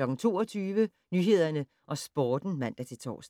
22:00: Nyhederne og Sporten (man-tor)